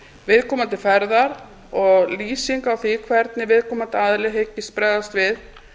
viðkomandi ferðar og lýsing á því hvernig viðkomandi aðili hyggist bregðast við